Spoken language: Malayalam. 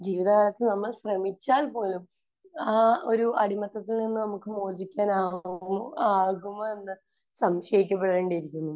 ജീവിതകാലത്ത് നമ്മൾ ശ്രമിച്ചാൽ പോലും ആ ഒരു അടിമത്തത്തിൽ നിന്ന് നമുക്ക് മോചിക്കാൻ ആകുമോ...ആകുമോയെന്ന് സംശയിക്കപ്പെടേണ്ടിയിരിക്കുന്നു.